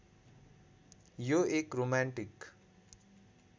यो एक रोमान्टिक